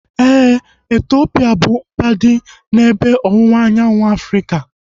Éè, Etiopia bụ mba dị n'ebe ọwụwa anyanwụ Afrịka